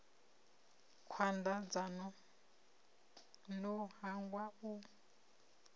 khwanda dzanu no hangwa u